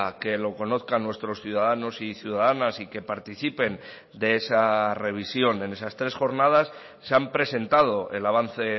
que lo conozcan nuestros ciudadanos y ciudadanas y que participen de esa revisión en esas tres jornadas se han presentado el avance